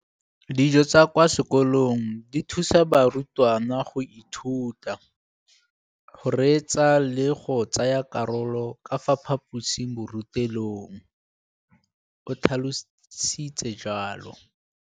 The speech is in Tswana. Dijo tsa kwa sekolong dithusa barutwana go ithuta, go reetsa le go tsaya karolo ka fa phaposiborutelong, o tlhalositse jalo.